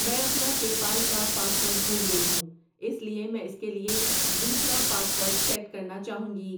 میں اپنا PayPal کا پاس ورڈ بھول گئی ہوں اس لیے میں اس کے لیے دوسرا پاس ورڈ سیٹ کرنا چاہوں گی۔